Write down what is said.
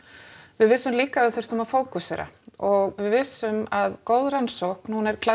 við vissum líka að við þyrftum að fókusera og við vissum að góð rannsókn hún er